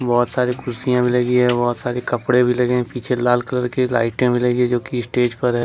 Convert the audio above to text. बहुत सारी कुर्सियां भी लगी है बहुत सारे कपड़े भी लगे पीछे लाल कलर की लाइटे लगी जो की स्टेज पर है।